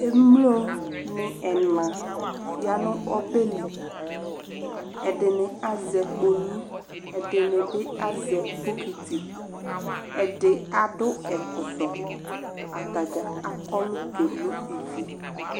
Emloni ɛna ya nʋ obeli Ɛdini azɛ kpolu, ɛdini bi azɛ bokiti, ɛdi adʋ ɛkɔtɔ, atadzaa akɔlʋ keno ivi